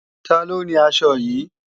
Taló ni aṣọ yìí?